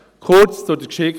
Kurz zur Geschichte: